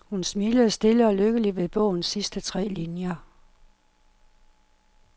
Hun smilede stille og lykkeligt ved bogens sidste tre linjer.